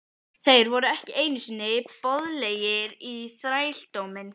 Þeir voru ekki einu sinni boðlegir í þrældóminn!